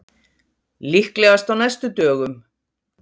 Líklegast á næstu dögum